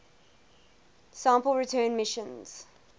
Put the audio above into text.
sample return missions